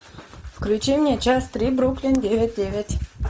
включи мне часть три бруклин девять девять